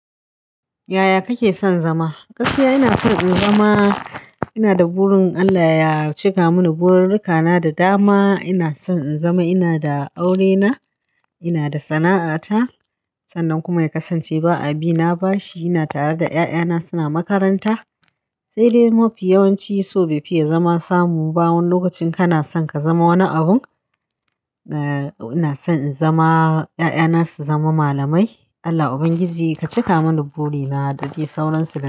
Yaya kake son zama? Gaskiya ina san in zama ina da burin Allah ya cika mini burikana da dama. Ina son in zama ina da aurena, ina da sana'ata. Sannan kuma ya kasance ba abi na bashi. Ina tare da 'ya'yana suna makaranta. Sai dai mafi yawannci so befiya zama samu ba. Wani lokacin kana son ka zama wani abun. Ina son in zama 'ya'yana su zama malamai. Allah Ubangiji ka cika mini burina da de sauran su.